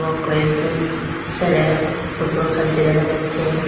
কয়েকজন সেলে ফুটবল খেলছে দেখা যাচ্ছে।